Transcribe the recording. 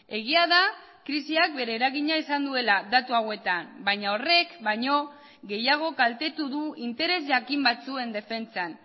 egia da krisiak bere eragina izan duela datu hauetan baina horrek baino gehiago kaltetu du interes jakin batzuen defentsan